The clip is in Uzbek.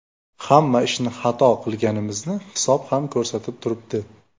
Hamma ishni xato qilganimizni hisob ham ko‘rsatib turibdi.